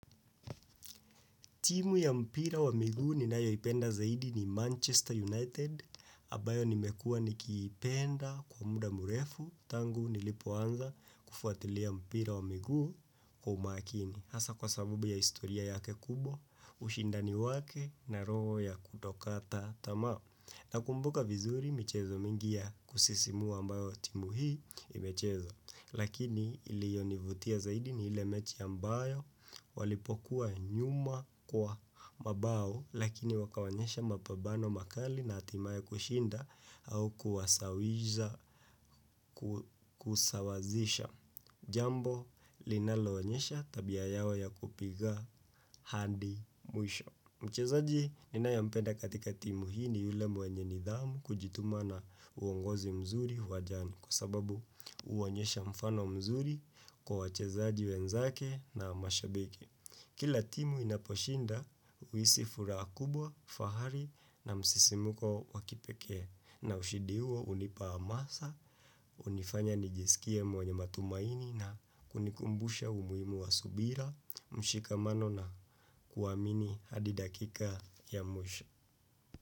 Timu ya mpira wa miguu ninayoipenda zaidi ni Manchester United, abayo nimekua nikiipenda kwa muda murefu, tangu nilipoanza kufuatilia mpira wa migu kwa umakini. Hasa kwa sabubu ya historia yake kubwa, ushindani wake na roho ya kutokataa tamaa. Nakumbuka vizuri michezo mingi ya kusisimua ambayo timu hii imecheza. Lakini ilionivutia zaidi ni ile mechi ambayo walipokuwa nyuma kwa mabao lakini wakaonyesha mapabano makali na hatimaye kushinda au kusawazisha. Jambo linaloonyesha tabia yao ya kupiga handi mwisho. Mchezaji ninayompenda katika timu hii ni yule mwenye nidhamu kujituma na uongozi mzuri uwanjani kwa sababu huonyesha mfano mzuri kwa wachezaji wenzake na mashabiki. Kila timu inaposhinda, uhisi furaha kubwa, fahari na msisimuko wa kipekee na ushidi huo hunipa hamasa, hunifanya nijisikie mwenye matumaini na kunikumbusha umuhimu wa subira, mshikamano na kuamini hadi dakika ya mwisho.